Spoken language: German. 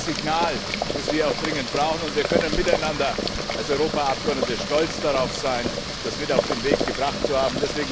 Das ist das Signal, das wir auch dringend brauchen, und wir können miteinander als Europaabgeordnete stolz darauf sein, das mit auf den Weg gebracht zu haben.